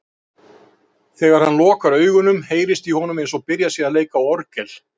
Þegar hann lokar augunum, heyrist honum eins og byrjað sé að leika á orgel.